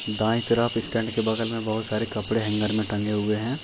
दाएं तरफ स्टैंड के बगल में बहुत सारे कपड़े हैंगर मैं टंगे हुए हैं।